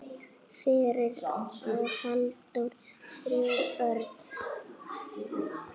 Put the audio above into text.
Fyrir á Halldór þrjú börn.